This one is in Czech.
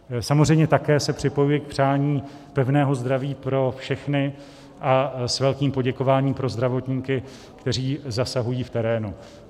Samozřejmě se také připojuji k přání pevného zdraví pro všechny a s velkým poděkováním pro zdravotníky, kteří zasahují v terénu.